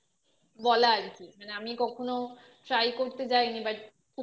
বলা আর কি মানে আমি কখনো try করতে যাইনি but